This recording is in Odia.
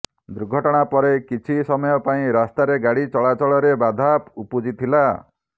ଦୁର୍ଘଟଣା ପରେ କିଛି ସମୟ ପାଇଁ ରାସ୍ତାରେ ଗାଡ଼ି ଚଳାଚଳରେ ବାଧା ଉପୁଜିଥିଲା